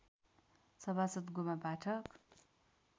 सभासद् गोमा पाठक